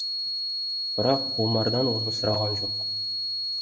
бірақ омардан оны сұраған жоқ